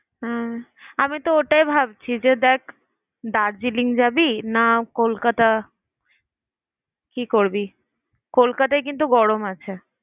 উম আমি তো ওটাই ভাবছি যে দেখ দার্জিলিং যাবি না কলকাতা? কি করবি? কলকাতায় কিন্তু গরম আছে।